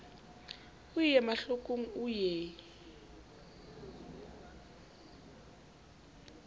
o ie mahlokong o ie